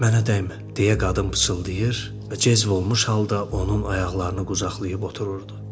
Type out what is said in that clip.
Mənə dəymə, deyə qadın pıçıldayır və cəzbolmuş halda onun ayaqlarını qucaqlayıb otururdu.